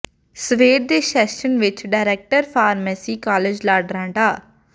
ਸਵੇਰ ਦੇ ਸੈਸ਼ਨ ਵਿੱਚ ਡਾਇਰੈਕਟਰ ਫਾਰਮੇਸੀ ਕਾਲਜ ਲਾਡਰਾਂ ਡਾ